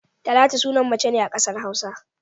Talatu sunan mace ne a kasar Hausa.